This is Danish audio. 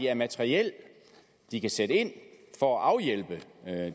af materiel de kan sætte ind for at afhjælpe